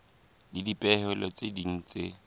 le dipehelo tse ding tse